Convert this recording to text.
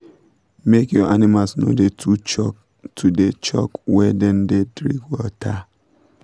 make your animals no da too choke da too choke where dem da drink water